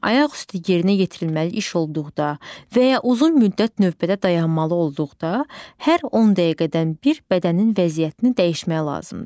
Ayaq üstü yerinə yetirilməli iş olduqda, və ya uzun müddət növbədə dayanmalı olduqda, hər 10 dəqiqədən bir bədənin vəziyyətini dəyişmək lazımdır.